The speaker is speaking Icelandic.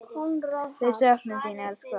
Við söknum þín, elsku amma.